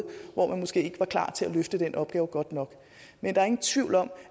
hvor man måske ikke var klar til at løfte den opgave godt nok men der er ingen tvivl om